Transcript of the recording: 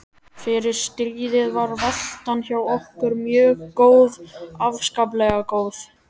Fyrir stríðið var veltan hjá okkur mjög góð, afskaplega góð.